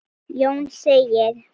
Jón segir